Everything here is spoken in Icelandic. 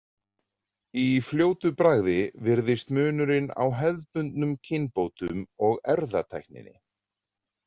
Í fljótu bragði virðist munurinn á hefðbundnum kynbótum og erfðatækninni.